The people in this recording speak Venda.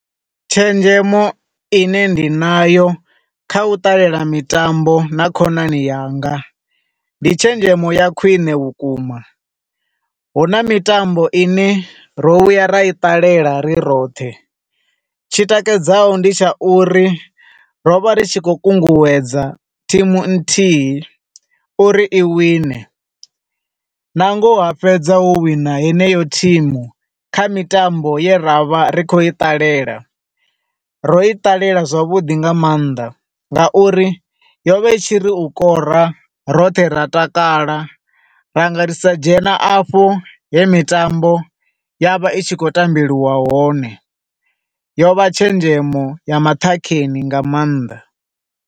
Tshenzhemo ine ndi na yo kha u ṱalela mitambo na khonani yanga, ndi tshenzhemo ya khwiṋe vhukuma. Hu na mitambo i ne ro vhuya ra i ṱalela ri roṱhe, tshi takadzaho ndi tsha uri ro vha ri tshi khou kunguwedza thimu nthihi uri i wine, na ngoho ha fhedza ho wina yeneyo thimu kha mitambo ye ra vha ri khou i ṱalela. Ro i ṱalela zwavhuḓi nga maanḓa nga uri yo vha itshiri u kora, roṱhe ra takala, ra nga ri sa dzhena afho he mitambo yo vha i tshi khou tambelwa hone. Yo vha tshenzhemo ya maṱhakheni nga maanḓa.